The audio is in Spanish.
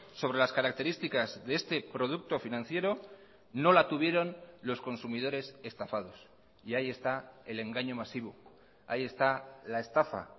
sobre las características de este producto financiero no la tuvieron los consumidores estafados y ahí está el engaño masivo ahí está la estafa